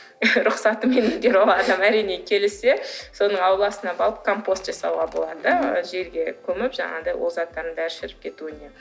рұхсатымен келіссе соның ауласына барып компост жасауға болады жерге көміп жаңағыдай ол заттардың бәрі шіріп кетуіне